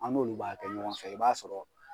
An n'olu b'a kɛ ɲɔgɔn fɛ i b'a sɔrɔ